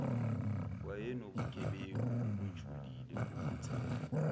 wayenobugebengu obujulile bokuthenga